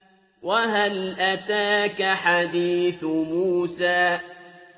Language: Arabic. وَهَلْ أَتَاكَ حَدِيثُ مُوسَىٰ